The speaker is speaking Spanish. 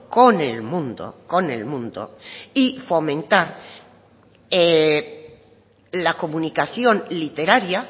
con el mundo con el mundo y fomentar la comunicación literaria